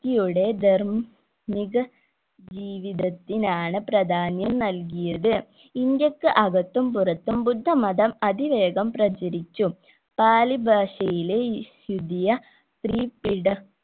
യുടെ ധർ മ്മിക ജീവിതത്തിനാണ് പ്രധാനം നൽകിയത് ഇന്ത്യക്ക് അകത്തും പുറത്തും ബുദ്ധമതം അതിവേഗം പ്രചരിച്ചു താലി ഭാഷയിലെ ലുദിയ